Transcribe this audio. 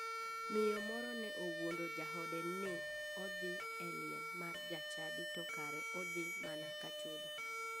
Miyo moro ne owuondo jaode ni odhi e liel mar jachadi to kara odhi mana ka chode.